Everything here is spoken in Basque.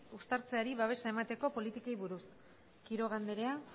uztartzeari babesa emateko politikei buruz quiroga andrea